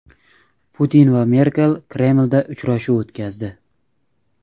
Putin va Merkel Kremlda uchrashuv o‘tkazdi.